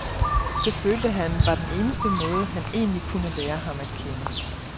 Det følte han var den eneste måde, han egentlig kunne lære ham at kende.